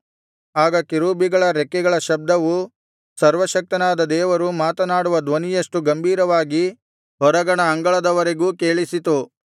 ಆಗ ಕೆರೂಬಿಗಳ ರೆಕ್ಕೆಗಳ ಶಬ್ದವು ಸರ್ವಶಕ್ತನಾದ ದೇವರು ಮಾತನಾಡುವ ಧ್ವನಿಯಷ್ಟು ಗಂಭೀರವಾಗಿ ಹೊರಗಣ ಅಂಗಳದವರೆಗೂ ಕೇಳಿಸಿತು